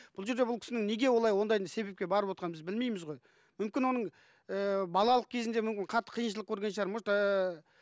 бұл жерде бұл кісінің неге олай ондайдың себепке барып отырғанын біз білмейміз ғой мүмкін оның ыыы балалық кезінде мүмкін қатты қиыншылық көрген шығар может ыыы